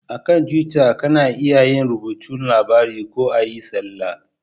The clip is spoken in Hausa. A kan tuwita ka na iya rubuta labarai ko a yi talla